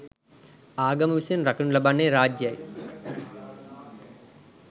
ආගම විසින් රකිනු ලබන්නේ රාජ්‍යයයි